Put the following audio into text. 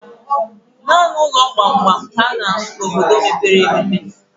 Naanị ụlọ gbamgbam ka a na-ahụ n' obodo mepere emepe.